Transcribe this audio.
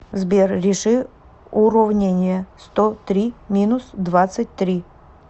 сбер реши уровнение сто три минус двадцать три